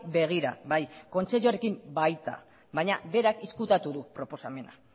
begira bai kontseiluarekin baita baina berak ezkutatu du proposamena